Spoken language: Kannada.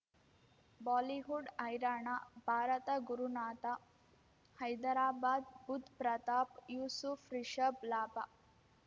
ಬಾಲಿವುಡ್ ಹೈರಾಣ ಭಾರತ ಗುರುನಾಥ ಹೈದರಾಬಾದ್ ಬುಧ್ ಪ್ರತಾಪ್ ಯೂಸುಫ್ ರಿಷಬ್ ಲಾಭ